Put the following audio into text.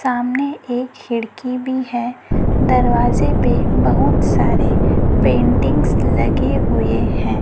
सामने एक खिड़की भी है। दरवाजे पर बहोत सारे पेंटिंग्स लगे हुए हैं।